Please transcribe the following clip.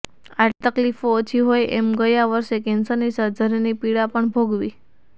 આટલી તકલીફો ઓછી હોય એમ ગયા વર્ષે કેન્સરની સર્જરીની પીડા પણ ભોગવી